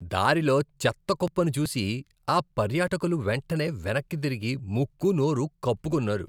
దారిలో చెత్త కుప్పను చూసి ఆ పర్యాటకులు వెంటనే వెనక్కు తిరిగి ముక్కు, నోరు కప్పుకున్నారు.